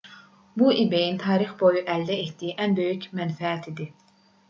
bu ebay-ın tarix boyu əldə etdiyi ən böyük mənfəət idi